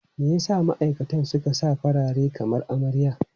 Me ya sa ma'aikatan suka sa farare kamar amarya?